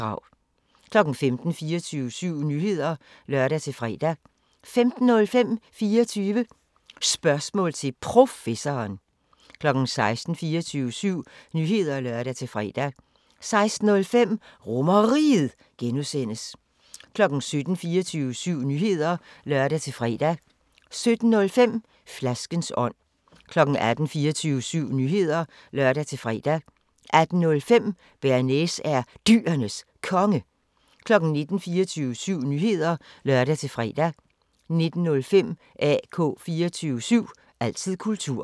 15:00: 24syv Nyheder (lør-fre) 15:05: 24 Spørgsmål til Professoren 16:00: 24syv Nyheder (lør-fre) 16:05: RomerRiget (G) 17:00: 24syv Nyheder (lør-fre) 17:05: Flaskens ånd 18:00: 24syv Nyheder (lør-fre) 18:05: Bearnaise er Dyrenes Konge 19:00: 24syv Nyheder (lør-fre) 19:05: AK 24syv – altid kultur